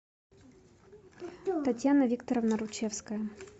татьяна викторовна ручевская